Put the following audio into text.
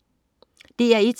DR1: